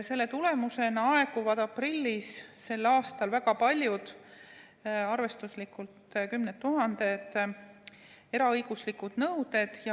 Selle tulemusena aeguvad selle aasta aprillis väga paljud, arvestuslikult kümned tuhanded eraõiguslikud nõuded.